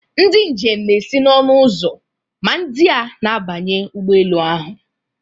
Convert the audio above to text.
Ndị njem na-esi n'ọnụ ụzọ ma ndị a na-abanye ụgbọ elu ahụ.